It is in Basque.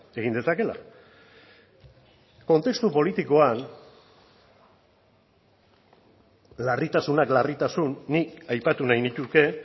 egin dezakela kontestu politikoan larritasunak larritasun nik aipatu nahi nituzke